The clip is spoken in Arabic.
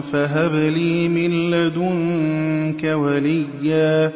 فَهَبْ لِي مِن لَّدُنكَ وَلِيًّا